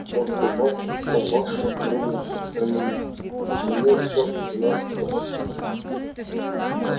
вот приказ о вашем временном отстранении на нём все двенадцать подписей